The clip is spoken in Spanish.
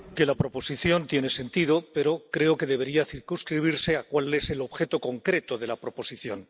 Señor presidente, que la proposición tiene sentido, pero creo que debería circunscribirse a cuál es el objeto concreto de la proposición.